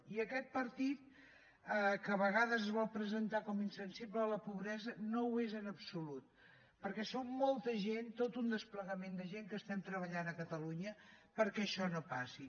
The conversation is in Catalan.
i aquest partit que a vegades es vol presentar com a insensible a la pobresa no ho és en absolut perquè som molta gent tot un desplegament de gent que estem treballant a catalunya perquè això no passi